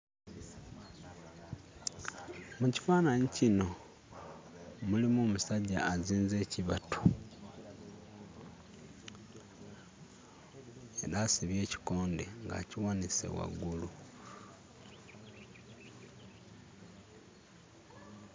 Mu kifaananyi kino mulimu omusajja azinze ekibatu era asibye ekikonde ng'akiwanise waggulu.